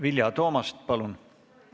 Vilja Toomast, palun!